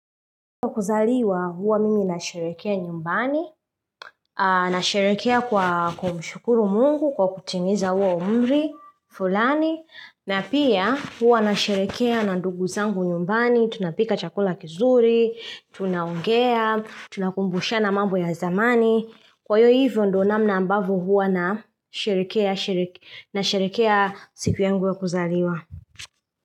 Kwa kuzaliwa huwa mimi na sherehekea nyumbani, nasherehekea kwa kumshukuru Mungu kwa kutimiza huo umri, fulani, na pia huwa nasherehekea na ndugu zangu nyumbani, tunapika chakula kizuri, tunaongea, tunakumbushana mambo ya zamani. Kwa hivyo ndo namna ambavyo huwa nasherehekea siku yangu ya kuzaliwa.